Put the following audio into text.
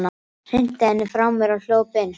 Hrinti henni frá mér og hljóp inn.